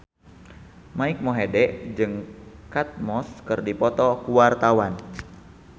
Mike Mohede jeung Kate Moss keur dipoto ku wartawan